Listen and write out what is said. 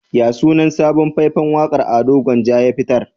Yaya sunan sabon fai-fan waƙa da Ado Gwanja ya fitar?